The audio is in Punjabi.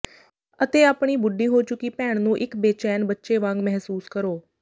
ਅਤੇ ਆਪਣੀ ਬੁੱਢੀ ਹੋ ਚੁੱਕੀ ਭੈਣ ਨੂੰ ਇਕ ਬੇਚੈਨ ਬੱਚੇ ਵਾਂਗ ਮਹਿਸੂਸ ਕਰੋ